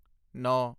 ਨੌਂ